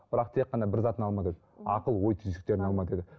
бірақ тек қана бір затын алмады деді ақыл ой түйсіктерін алма деді